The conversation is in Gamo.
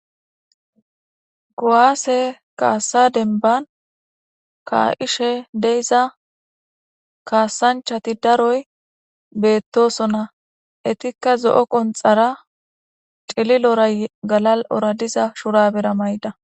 Kuwaase kaasa denban kaa'ishe deiza kaasanchati daroy beettosona etikka zo'o qonxara cililora galal'ora diza shurabera mayda.